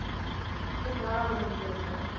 இப்ப தாராபுரம்ல இருக்கோம்